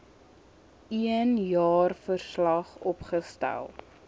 een jaarverslag opgestel